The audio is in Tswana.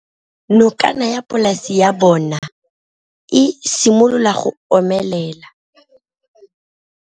Nokana ya polase ya bona, e simolola go omelela.